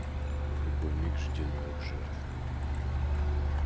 в любой миг жди новых жертв